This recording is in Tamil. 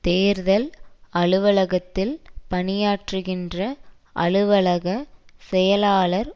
தேர்தல் அலுவலகத்தில் பணியாற்றுகின்ற அலுவலக செயலாளர்